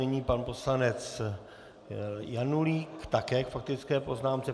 Nyní pan poslanec Janulík také k faktické poznámce.